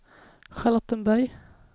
Charlottenberg